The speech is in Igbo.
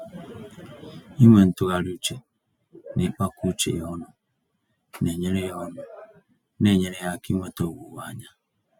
Ịnwe ntụgharị uche, na ịkpakọ uche ya ọnụ, naenyere ya ọnụ, naenyere ya áká inweta owuwe-anya.